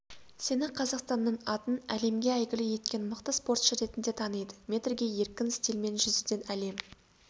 сені қазақстанның атын әлемге әйгілі еткен мықты спортшы ретінде таниды метрге еркін стильмен жүзуден әлем